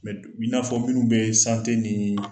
du i n'a fɔ minnu bee nii